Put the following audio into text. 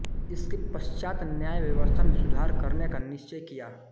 इसके पश्चात् न्याय व्यवस्था में सुधार करने का निश्चय किया